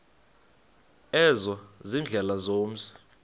ezo ziindlela zomzi